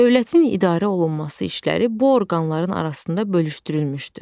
Dövlətin idarə olunması işləri bu orqanların arasında bölüşdürülmüşdü.